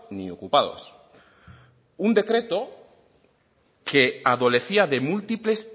ni ocupados un decreto que adolecía de múltiples